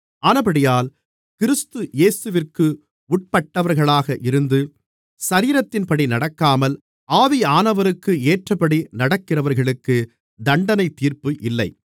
ஆனபடியால் கிறிஸ்து இயேசுவிற்கு உட்பட்டவர்களாக இருந்து சரீரத்தின்படி நடக்காமல் ஆவியானவருக்கு ஏற்றபடி நடக்கிறவர்களுக்கு தண்டனைத்தீர்ப்பு இல்லை